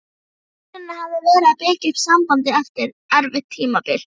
Ætlunin hafði verið að byggja upp sambandið eftir erfitt tímabil.